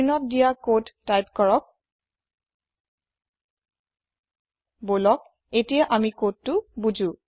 স্ক্ৰীনত দিদিয়া কদ টাইপ কৰক বলক এতিয়া আমি কদটো বু্জো